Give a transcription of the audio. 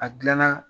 A gilanna